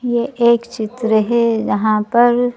यह एक चित्र है जहां पर--